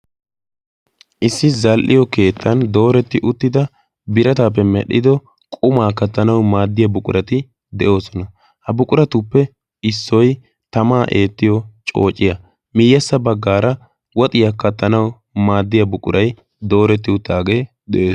issi zal77iyo keettan dooretti uttida birataappe medhdhido qumaa kattanau maaddiya buqurati de7oosona. ha buquratuppe issoi tamaa eettiyo coociya miiyyassa baggaara woxiyaa kattanau maaddiya buqurai dooretti uttaagee de7es.